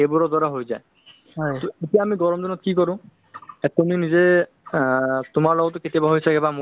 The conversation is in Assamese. উম তেনেকে এটা মানুহৰ এটা বা তেনেকে এটা মানুহৰ যদি ভাল এটা terms থাকে good condition থাকে